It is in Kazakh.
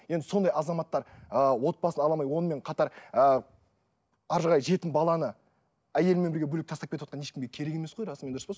енді сондай азаматтар ы отбасын ала алмай онымен қатар ы әрі қарай жетім баланы әйелімен бірге бөлек тастап кетіватқан ешкімге керек емес қой расымен дұрыс па